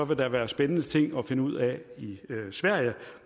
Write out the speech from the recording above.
vil der være spændende ting at finde ud af i sverige